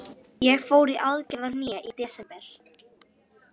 Ég fór í aðgerð á hné í desember.